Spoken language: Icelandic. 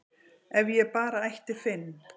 ef ég bara ætti Finn